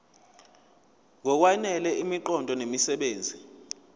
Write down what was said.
ngokwanele imiqondo nemisebenzi